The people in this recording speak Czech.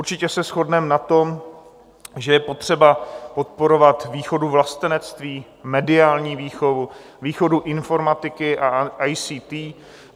Určitě se shodneme na tom, že je potřeba podporovat výchovu vlastenectví, mediální výchovu, výchovu informatiky a ICT.